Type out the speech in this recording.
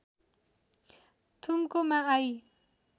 थुम्कोमा I